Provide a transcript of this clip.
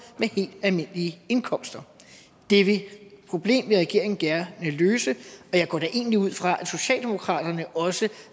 med helt almindelige indkomster det problem vil regeringen gerne løse og jeg går da egentlig ud fra at socialdemokratiet også